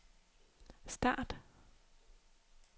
start